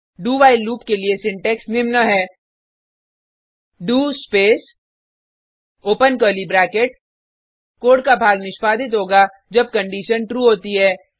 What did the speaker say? do while loop के लिए syntax निम्न है DO space open curly bracket कोड का भाग निष्पादित होगा जब कंडिशन ट्रू होती है